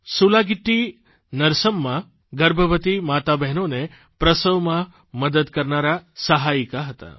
સુલાગિટ્ટી નરસમ્મા ગર્ભવતી માતાબહેનોને પ્રસવમાં મદદ કરનારા સહાયિકા હતા